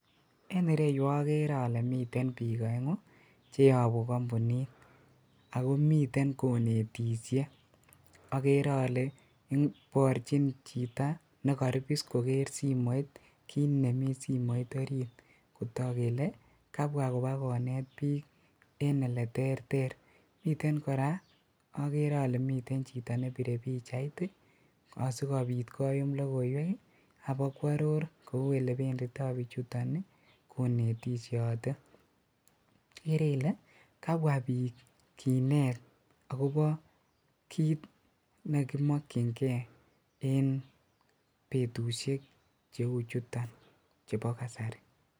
En ireyuu okeree olee miten biik oengu cheyobu kombunit akoo miten konetishe, okeree olee iborchin chito nekoribis kokeer simoit kiit nemii simoit oriit kotok kelee kabwaa ibakonet biik en elee terter, miten kora okeree olee miten chito nebire pichait asikobit koyum lokoiwek ak ibakwaror kouu elebendito bichuton konetishote, ikeree ilee kabwaa biik kinet akobo kiit nekimokying'e en betushek cheuchuton chebo kasari.